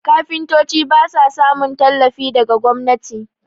kafintoci ba sa samun tallafi daga gwamnati